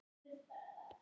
Á ég að gera dreng?